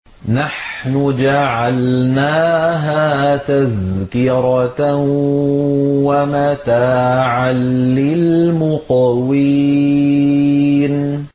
نَحْنُ جَعَلْنَاهَا تَذْكِرَةً وَمَتَاعًا لِّلْمُقْوِينَ